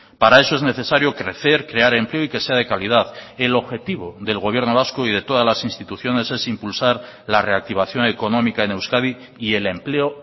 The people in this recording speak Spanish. para eso es necesario crecer crear empleo y que sea de calidad el objetivo del gobierno vasco y de todas las instituciones es impulsar la reactivación económica en euskadi y el empleo